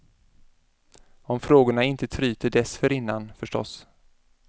Om frågorna inte tryter dessförinnan, förstås.